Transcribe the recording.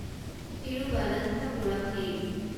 Thiruvananthapuram mail